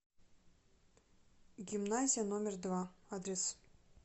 гимназия номер два адрес